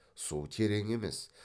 су терең емес